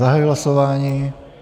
Zahajuji hlasování.